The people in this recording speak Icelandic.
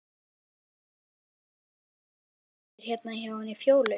Þeir vita af mér hérna hjá henni Fjólu.